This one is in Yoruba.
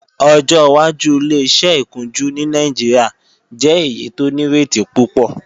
Ọjọ́ wájú Ileṣẹ́ ìkunjú ní Nàìjíríà jẹ́ èyí tó nírètí púpọ̀